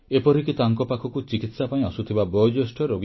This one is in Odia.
ଏପରିକି ତାଙ୍କ ପାଖକୁ ଚିକିତ୍ସା ପାଇଁ ସବୁବେଳେ ତତ୍ପର ରହୁଥିଲେ